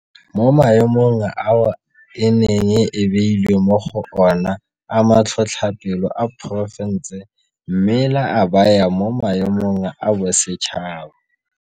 Mo maemong ao e neng e beilwe mo go ona a matlhotlhapelo a porofense mme la a baya mo maemong a bosetšhaba.